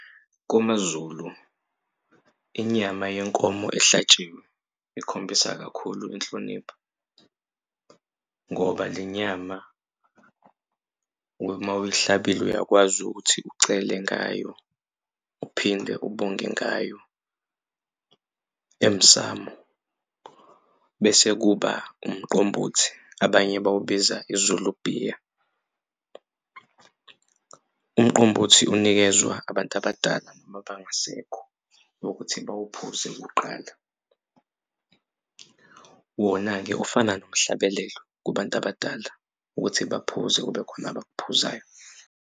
KwamaZulu inyama yenkomo ehlatshiwe ikhombisa kakhulu inhlonipho ngoba le nyama uma uyihlabile uyakwazi ukuthi ucele ngayo uphinde ubonge ngayo emsamu. Bese kuba umqombothi abanye bawubiza iZulu bhiya umqombothi unikezwa abantu abadala noma abangasekho ukuthi bawuphuze kuqala. Wona-ke ufana nomhlabelelo kubantu abadala ukuthi baphuze kube khona abakuphuzayo.